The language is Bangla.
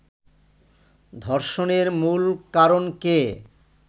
ধর্ষণের মূল কারণকে